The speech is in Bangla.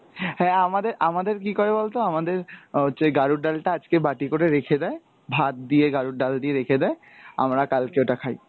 হ্যাঁ আমাদের, আমাদের কী করে বলতো আমাদের অ্যাঁ যে গাড়ুর ডাল টা আজকে বাটি করে রেখে দেয়, ভাত দিয়ে গাড়ুর ডাল দিয়ে রেখে দেয়, আমরা কালকে ওটা খাই।